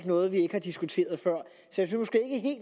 noget vi ikke har diskuteret før så